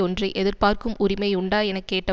ஒன்றை எதிர்பார்க்கும் உரிமை உண்டா என கேட்ட